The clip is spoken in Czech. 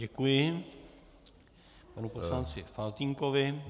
Děkuji panu poslanci Faltýnkovi...